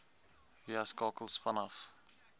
via skakels vanaf